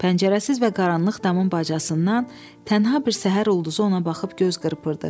Pəncərəsiz və qaranlıq damın bacasından tənha bir səhər ulduzu ona baxıb göz qırpırdı.